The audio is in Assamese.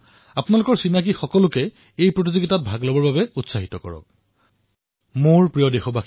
বন্ধুসকল মোৰ এই প্ৰস্তাৱ নিশ্চয় আপোনালোকে ভাল পাইছে নহয় জানো তেন্তে কুইজত অংশগ্ৰহণ কৰিবলৈ নাপাহৰিব আৰু অধিকাংশ লোকক ইয়াৰ বাবে উৎসাহিত কৰিব